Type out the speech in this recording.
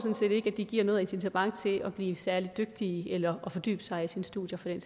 de giver noget incitament til at blive særlig dygtige eller til at fordybe sig i sine studier for den